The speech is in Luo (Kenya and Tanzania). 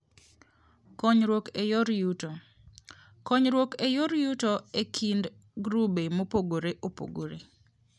Konyruok e Yor Yuto: Konyruok e yor yuto e kind grube mopogore opogore.